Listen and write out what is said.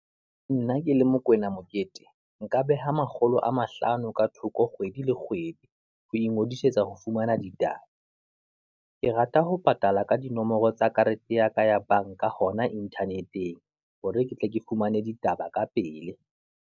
Nna ke le Mokoena Mokete, nka beha makgolo a mahlano ka thoko kgwedi le kgwedi, ho ingodisetsa ho fumana ditaba. Ke rata ho patala ka dinomoro tsa karete ya ka ya banka, hona Internet-eng hore ke tle ke fumane ditaba ka pele.